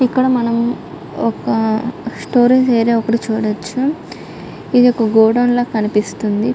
ఇక్కడ మనం ఒక స్టోరేజ్ ఏరియా ఒకటి చూడొ.చ్చు ఇది ఒక గొడవున్ లాగా కనిపిస్తుంది.